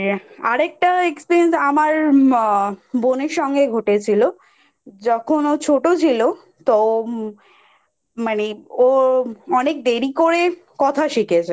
আর আরেকটা Experience আমার ম বোনের সঙ্গে ঘটেছিলো যখন ও ছোট ছিল তো মানে ও অনেক দেরি করে কথা শিখেছে